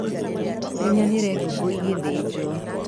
Nĩnyonire ngũkũ ĩngĩthĩjwo.